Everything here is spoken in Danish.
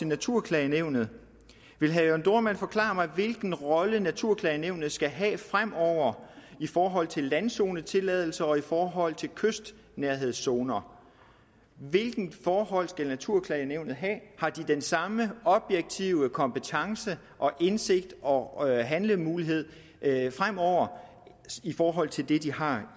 naturklagenævnet vil herre jørn dohrmann forklare mig hvilken rolle naturklagenævnet skal have fremover i forhold til landzonetilladelse og i forhold til kystnærhedszoner hvilke forhold skal naturklagenævnet have har de den samme objektive kompetence og indsigt og handlemulighed fremover i forhold til det de har